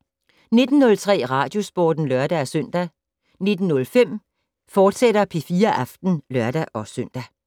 19:03: Radiosporten (lør-søn) 19:05: P4 Aften, fortsat (lør-søn)